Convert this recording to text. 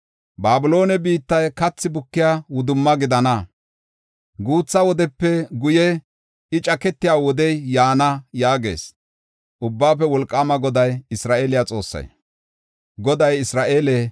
“Babiloone biittay kathi bukiya wudumma gidana; guutha wodepe guye I caketiya wodey yaana” yaagees Ubbaafe Wolqaama Goday, Isra7eele Xoossay.